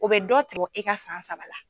O bɛ dɔ tigɛ e ka san saba la.